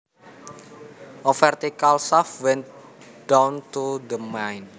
A vertical shaft went down to the mine